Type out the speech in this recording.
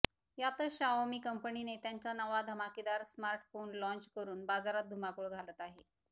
यातच शाओमी कंपनीने त्यांच्या नवा धमाकेदार स्मार्टफोन लॉन्च करुन बाजारात धुमाकूळ घालत आहे